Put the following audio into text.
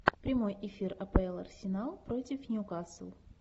прямой эфир апл арсенал против ньюкасл